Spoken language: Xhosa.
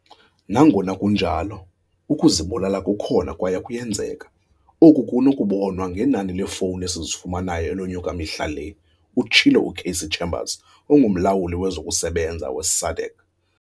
Nangona kunjalo, ukuzibulala kukhona kwaye kuyenzeka, oku kunokubonwa ngenani leefowuni esizifumanayo elonyuka mihla le, utshilo u-Cassey Chambers, onguMlawuli wezokuSebenza we-SADAG.